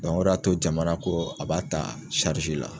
o de y'a to jamana ko a b'a ta la.